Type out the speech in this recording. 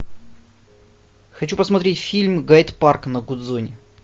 хочу посмотреть фильм гайд парк на гудзоне